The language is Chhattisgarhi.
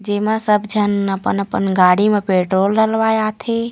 जेमा सब जन अपन-अपन गाडी म पेट्रोल डलवाए आथे।